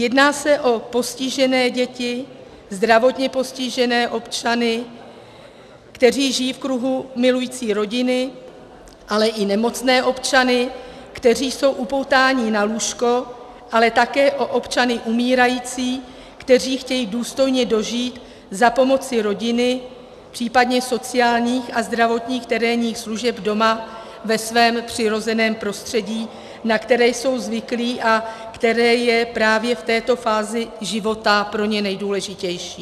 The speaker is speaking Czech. Jedná se o postižené děti, zdravotně postižené občany, kteří žijí v kruhu milující rodiny, ale i nemocné občany, kteří jsou upoutáni na lůžko, ale také o občany umírající, kteří chtějí důstojně dožít za pomoci rodiny, případně sociálních a zdravotních terénních služeb doma, ve svém přirozeném prostředí, na které jsou zvyklí a které je právě v této fázi života pro ně nejdůležitější.